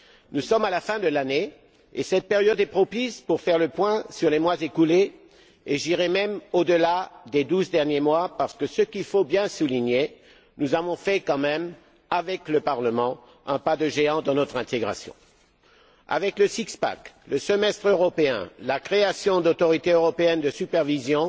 Nous sommes à la fin de l'année et cette période est propice pour faire le point sur les mois écoulés et j'irai même au delà des douze derniers mois car il faut bien souligner, nous avons quand même fait, avec le Parlement, un pas de géant dans notre intégration avec le six pack le semestre européen, la création d'autorités européennes de supervision